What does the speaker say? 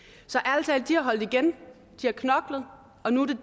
de har holdt igen de har knoklet og nu